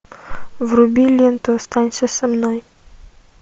вруби ленту останься со мной